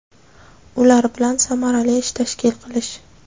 ular bilan samarali ish tashkil qilish;.